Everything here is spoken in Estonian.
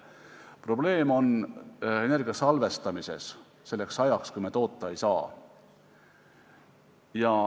Probleem on energia salvestamises selleks ajaks, kui me seda toota ei saa.